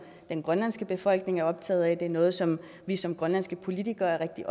den grønlandske befolkning er optaget af og det er noget som vi som grønlandske politikere er rigtig